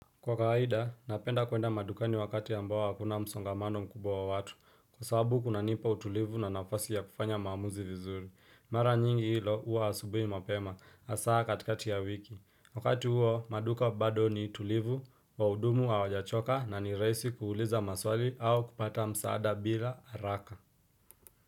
Kwa kawaida, napenda kuenda madukani wakati ambao hakuna msongamano mkubwa wa watu Kwa sababu kunanipa utulivu na nafasi ya kufanya maamuzi vizuri Mara nyingi hilo uwa asubui mapema, hasaa katikati ya wiki Wakati huo, maduka bado ni tulivu, waudumu hawajachoka na ni rahisi kuuliza maswali au kupata msaada bila haraka.